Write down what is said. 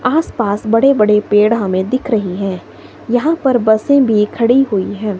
आसपास बड़े बड़े पेड़ हमें दिख रहे हैं यहां पर बसे भी खड़ी हुई हैं।